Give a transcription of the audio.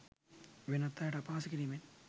වෙනත් අයට අපහාස කිරීමෙන්.